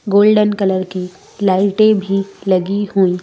golden colour की लाइटे भी लगी हुई--